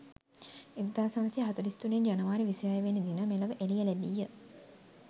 1943 ජනවාරි 26 වෙනි දින මෙලොව එළිය ලැබීය.